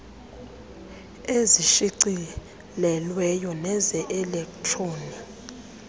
ezishicilelweyo neze elektroni